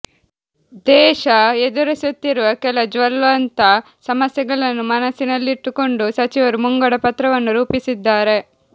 ದೇಶ ಎದುರಿಸುತ್ತಿರುವ ಕೆಲ ಜ್ವಲಂತ ಸಮಸ್ಯೆಗಳನ್ನು ಮನಸ್ಸಿನಲ್ಲಿಟ್ಟುಕೊಂಡು ಸಚಿವರು ಮುಂಗಡಪತ್ರವನ್ನು ರೂಪಿಸಿದ್ದಾರೆ